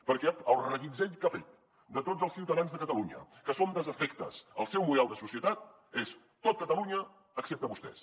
perquè el reguitzell que ha fet de tots els ciutadans de catalunya que som desafectes al seu model de societat és tot catalunya excepte vostès